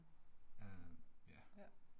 Øh ja